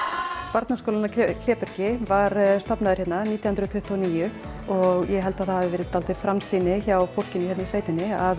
barnaskólinn að Klébergi var stofnaður hérna nítján hundruð tuttugu og níu og ég held að það hafi verið dálítil framsýni hjá fólkinu hérna í sveitinni að